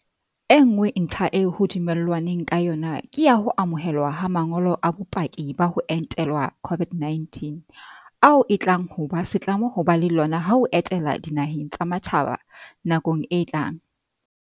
E nngwe ntlha eo ho dumellanweng ka yona ke ya ho amohelwa ha ma ngolo a bopaki ba ho entelwa COVID-19 - ao e tlang ho ba setlamo ho ba le lona ha o etela dinaheng tsa matjhaba nakong e tlang.